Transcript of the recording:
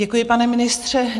Děkuji, pane ministře.